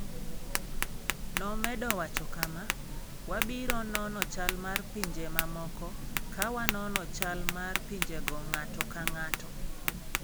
Nomedo wacho kama: "Wabiro nono chal mar pinje mamoko ka wanono chal mar pinjego ng'ato ka ng'ato".